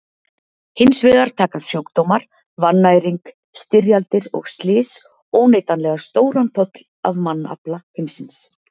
Hins vegar taka sjúkdómar, vannæring, styrjaldir og slys óneitanlega stóran toll af mannafla heimsins.